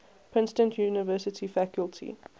princeton university faculty